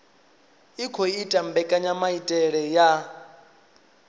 i khou ita mbekanyamaitele ya